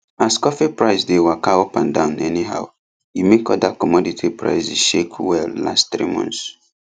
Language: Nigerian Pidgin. as coffee price dey waka up and down anyhow e make other commodity prices shake well last three months